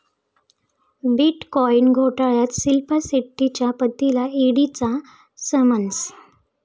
bitcoin घोटाळ्यात शिल्पा शेट्टीच्या पतीला ईडीचा समन्स